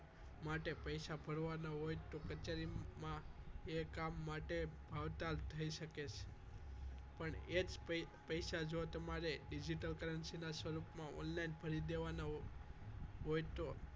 માટે પૈસા ભરવાના હોય તો કચેરીમાં તે કામ માટે ભાવતાલ થઈ શકે છે પણ એ જ પૈસા જો તમે digital currency માં સ્વરૂપમાં online ભરી દેવાના હોય તો